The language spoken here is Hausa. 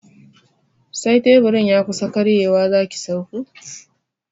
Sai teburin ya kusa karyewa zaki sauko